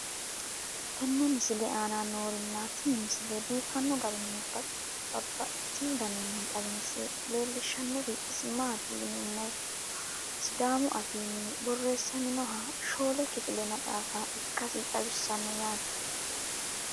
tenne misile aana noorina tini misile biiffanno garinni babaxxinno daniinni xawisse leelishanori isi maati yinummoro sidaamu affinni borreessamminnoha shoole kiffille maxaaffa ikkassi xawissanno yaatte